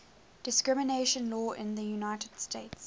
discrimination law in the united states